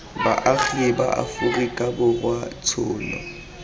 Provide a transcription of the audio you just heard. baagi ba aforika borwa tshono